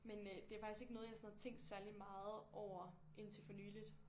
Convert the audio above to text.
Men øh det er faktisk ikke noget jeg har sådan tænkt særligt meget over indtil for nyligt